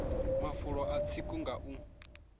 mafulo a tsiko nga u